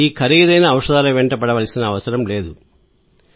ఈ ఖరీదైన ఔషధాల వెంట పడవలసిన అవసరం లేదు సార్